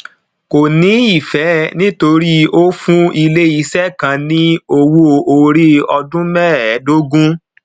kò ní ìfẹ nítorí ó fún iléiṣẹ kan ní owó orí ọdún mẹẹdógún